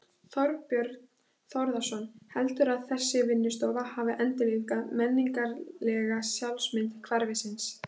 Þorbjörn Þórðarson: Heldurðu að þessi vinnustofa hafi endurlífgað menningarlega sjálfsmynd hverfisins?